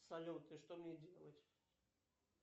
салют и что мне делать